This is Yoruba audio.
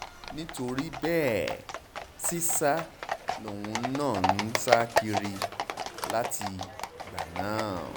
nítorí bẹ́ẹ̀ sìṣà lòun náà ń sá kiri látìgbà náà